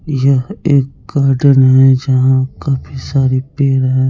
यह एक गार्डेन है जहाँ काफी सारे पेड़ हैं।